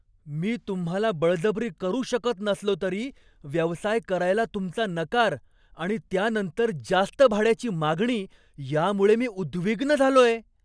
मी तुम्हाला बळजबरी करू शकत नसलो तरी, व्यवसाय करायला तुमचा नकार आणि त्यानंतर जास्त भाड्याची मागणी यामुळे मी उद्विग्न झालोय.